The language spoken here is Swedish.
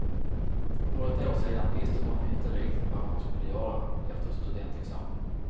För ett år sedan visste hon inte riktigt vad hon skulle göra efter studentexamen.